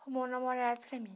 arrumou um namorado para mim.